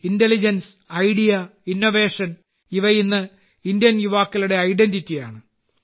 intelligence idea innovation ഇവ ഇന്ന് Indian യുവാക്കളുടെ ഐഡന്റിറ്റിയാണ്